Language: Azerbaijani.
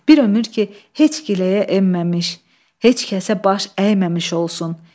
Bir ömür ki heç giləyə enməmiş, heç kəsə baş əyməmiş olsun.